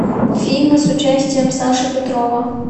фильмы с участием саши петрова